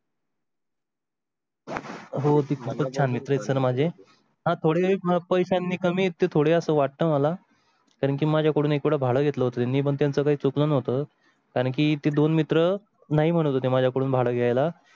हो खूप छान मित्र आहे माझे थोडे पैशांनी कमी येते थोडे असं वाटतं मला कारण की माझ्याकडून एक भाडा घेतला होता येत नाही पण त्याच्या काही चुकलं होतं कारण की ते दोन मित्र नाही म्हणत होते माझ्याकडून भाडा घ्याय ला